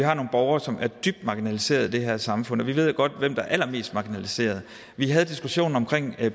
har nogle borgere som er dybt marginaliseret i det her samfund og vi ved jo godt hvem der er allermest marginaliseret vi havde diskussionen om